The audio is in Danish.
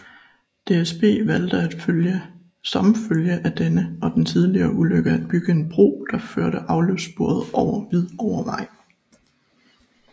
DSB valgte som følge af denne og den tidligere ulykke at bygge en bro der førte afløbssporet over Hvidovrevej